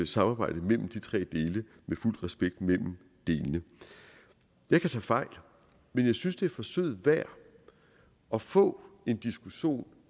samarbejde mellem de tre dele med fuld respekt mellem delene jeg kan tage fejl men jeg synes det er forsøget værd at få en diskussion